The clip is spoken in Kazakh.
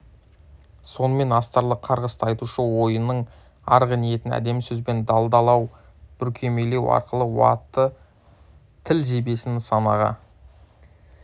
сонымен астарлы қарғысты айтушы ойының арғы ниетін әдемі сөзбен далдалау бүркемелеу арқылы уытты тіл жебесін нысанаға